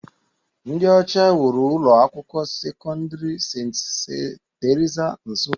Ndị ọcha wuru ụlọ akwụkwọ sekọndrị St. Theresa, Nsukka.